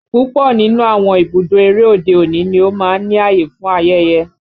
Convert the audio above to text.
Púpọ̀ nínú àwọn ibùdó eré òde-òní ni ó máa ń ní ààyè fún ayẹyẹ